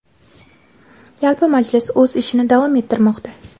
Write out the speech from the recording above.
Yalpi majlis o‘z ishini davom ettirmoqda).